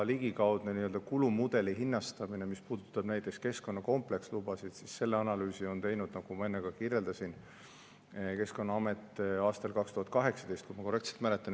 Ligikaudne kulumudeli hinnastamine, mis puudutab näiteks keskkonnakomplekslubasid – selle analüüsi on teinud, nagu ma enne kirjeldasin, Keskkonnaamet aastal 2018, kui ma korrektselt mäletan.